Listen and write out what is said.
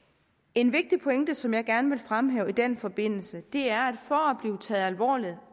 en vigtig pointe som jeg gerne vil fremhæve i den forbindelse er for at blive taget alvorligt